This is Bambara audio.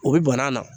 O bi banna na